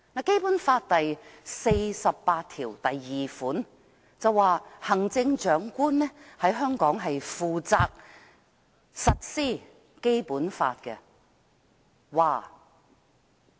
《基本法》第四十八條第二項訂明，行政長官在香港負責執行《基本法》。